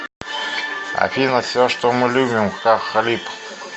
афина все что мы любим хах халиб